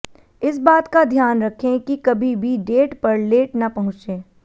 इस बात का ध्यान रखें कि कभी भी डेट पर लेट न पहुंते